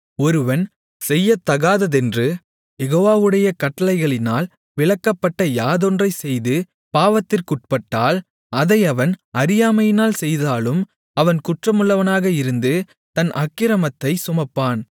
ஒருவன் செய்யத்தகாததென்று யெகோவாவுடைய கட்டளைகளினால் விலக்கப்பட்ட யாதொன்றைச் செய்து பாவத்திற்குட்பட்டால் அதை அவன் அறியாமையினால் செய்தாலும் அவன் குற்றமுள்ளவனாக இருந்து தன் அக்கிரமத்தைச் சுமப்பான்